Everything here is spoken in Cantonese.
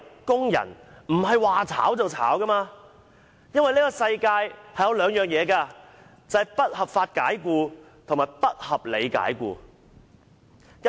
工人不應無故遭受解僱，當中包括"不合法解僱"及"不合理解僱"兩種情況。